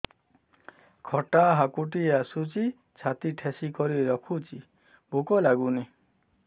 ଖଟା ହାକୁଟି ଆସୁଛି ଛାତି ଠେସିକରି ରଖୁଛି ଭୁକ ଲାଗୁନି